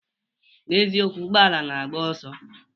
Na'ezie, ụgbọala na-agba ọsọ